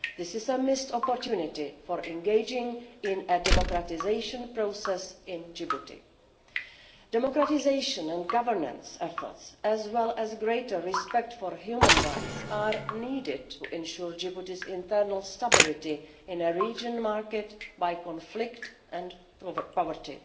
This is a missed opportunity for engaging in a democratisation process in Djibouti. Democratisation and governance efforts, as well as greater respect for human rights, are needed to ensure Djibouti's internal stability in a region marked by conflict and poverty.